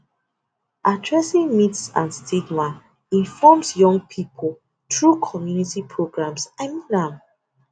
addressing myths and stigma informs young people through community programs i mean um